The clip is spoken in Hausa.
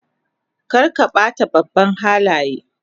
Kar ka ba ta babban Halaye